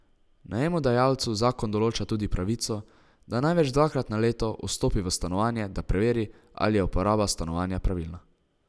Najemodajalcu zakon določa tudi pravico, da največ dvakrat na leto vstopi v stanovanje, da preveri, ali je uporaba stanovanja pravilna.